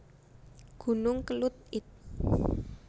Gunung Kelud id